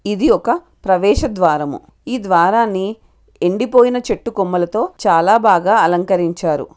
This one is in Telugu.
ఇది ఒక ప్రవేశ ద్వారము ఈ ద్వారాన్ని ఎండిపోయిన చెట్ల కొమ్మలతో చాలా బాగా అలంకరించారు.